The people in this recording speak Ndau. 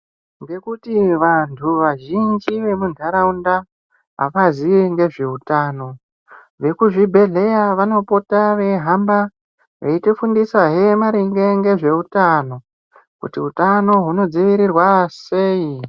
Ngekuti vantu vazhinji vemundaraunda havazivi nezveutano vemuzvibhedhlera vanopota vehamba veitifundisa hee ngezveutano kuti hutano hunodzivirirwa sei.